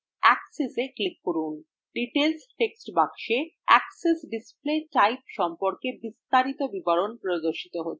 axes এ click করুন details text box axes display type সম্পর্কে বিস্তারিত বিবরণ প্রদর্শিত হয়